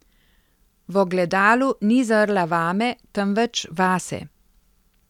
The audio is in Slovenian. V ogledalu ni zrla vame, temveč vase.